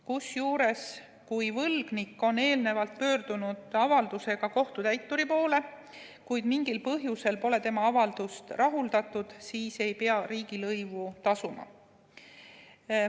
Kusjuures, kui võlgnik on eelnevalt pöördunud avaldusega kohtutäituri poole, kuid mingil põhjusel pole tema avaldust rahuldatud, siis ei pea riigilõivu tasuma.